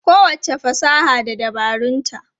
Kowacce fasaha da dabarunta.